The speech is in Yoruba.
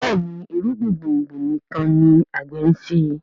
Béèni irúgbìn gbòngbò nìkàn ní agbe nṣe.